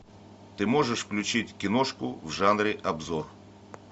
ты можешь включить киношку в жанре обзор